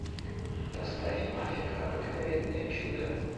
поставь мафика обыкновенное чудо